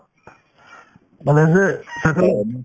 ভালে আছে সেইফালে